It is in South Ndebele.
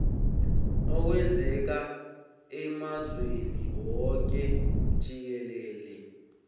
okwenzeka emazweni woke jikelele